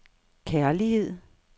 kærlighed